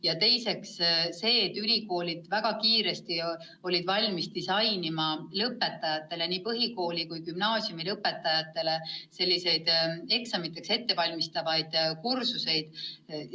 Ja teiseks see tugi, et ülikoolid olid väga kiiresti valmis looma nii põhikooli kui ka gümnaasiumi lõpetajatele eksamiks ette valmistavaid kursusi.